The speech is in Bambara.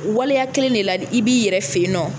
Waleya kelen de la i b'i yɛrɛ fɛ yen nɔ